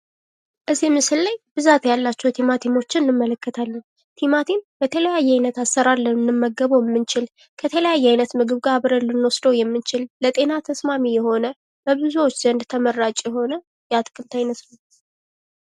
እዚህ ምስል ላይ ብዛት ያላቸው ቲማቲም እንመለከታለን። ቲማቲም በተለያየ አይነት አሰራር ልንመገበው የምንችል ከተለያየ አይነት ምግብ ጋር ልንወስደው የምንችል ለጤና ተስማሚ የሆነ በብዙዎች ዘንድ ተመራጭ የሆነ የአትክልት አይነት ነው።